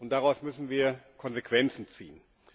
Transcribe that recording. Daraus müssen wir Konsequenzen ziehen.